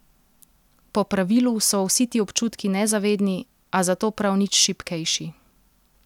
Po pravilu so vsi ti občutki nezavedni, a zato prav nič šibkejši.